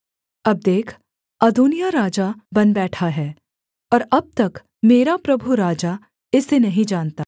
अब देख अदोनिय्याह राजा बन बैठा है और अब तक मेरा प्रभु राजा इसे नहीं जानता